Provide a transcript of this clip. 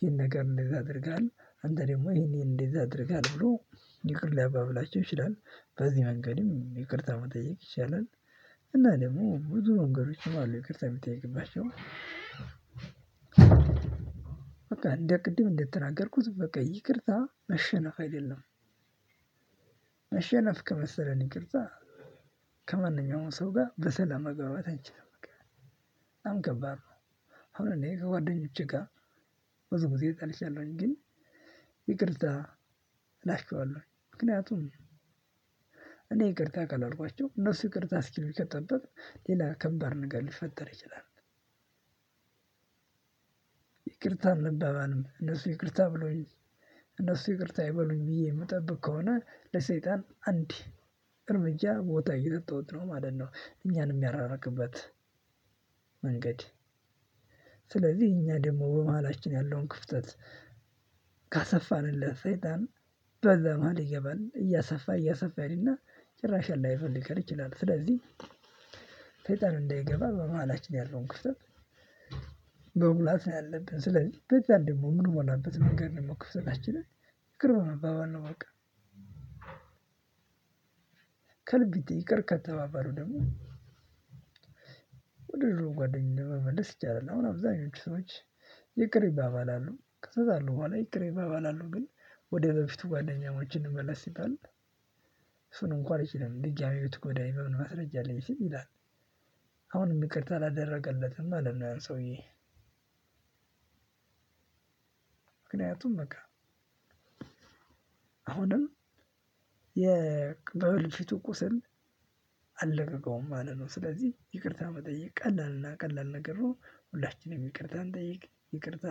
ይህን ነገር እንደዛ አድርጋል አንተ ደግሞ ይሄን እንደዛ አድርጋል ብሎ ብሎ ይቅር ሊያባብላቸው ይችላል። በዚህ መንገድም ይቅርታ መጠየቅ ይቻላል። እና ደግሞ ብዙ መንገዶችሞ አሉ ይቅርታ የሚጠይቅባቸው። በቃ እንደ ቅድም እንደተናገርኩት በቃ ይቅርታ መሸነፍ አይደለም። መሸነፍ ከመሰለን ይቅርታ ከማንኛውም ሰው ጋር በሰላም መግባባት አንችልም በቃ። በጣም ከባድ ነው። አሁን እኔ ከጓደኞቼ ጋር ብዙ ጊዜ ተጣልቻለሁኝ ግን ይቅርታ እላችኋለሁኝ ምክንያቱም እኔ ይቅርታ ካላልኳቸው እነሱ ይቅርታ እስኪሉኝ ከጠበኩ ሌላ ከባድ ነገር ሊፈጠር ይችላል። ይቅርታ አንባባልም እነሱ ይቅርታ ብሎኝ እነሱ ይቅርታ ይበሉኝ ብዬ የምጠብቅ ከሆነ ለሰይጣን አንዴ እርምጃ ቦታ እየሰጠሁት ነው ማለት ነው እኛን የሚያራርቅበት። መንገድ። ስለዚህ እኛ ደግሞ በመሃላችን ያለውን ክፍተት ካሰፋንለት ሰይጣን በዛ መሃል ይገባል እያሰፋ እያሰፋ ይሄድና። ጭራሽ አላይፈልገን ይችላል ስለዚህ። ሰይጣን እንዳይገባ በመሃላችን ያለውን ክፍት መሙላት ነው ያለብን። ስለዚህ በዛ ደግሞ ምንሞላበት መንገድ ደግሞ ክፍተታችንን ይቅር በመባባል ነው በቃ። ከልብ ይቅር ከተባባሉ ደግሞ ወደ ድሮ ጓደኛ መመለስ ይቻላል። አሁን አብዛኞቹ ሰዎች ይቅር ይባባላሉ ከተጣሉ ቡሀላ ይቅር ይባባላሉ ግን ወደበፊቱ ጓደኛሞች እንመለስ ሲባል። እሱን እንኳን አልችልም ድጋሚ ብትጎዳኝ በምን ማስረጃ አለኝ ስም ይላል። ይቅርታ አላደረገለትም አይደለም ያን ሰውዬ። ምክንያቱም በቃ አሁንም የበልፊቱ ቁስል አለቀቀውም ማለት ነው። ስለዚህ ይቅርታ መጠየቅ ቀላል እና ቀላል ነገር ነው። ሁላችንም ይቅርታ እንጠይቅ ይቅርታ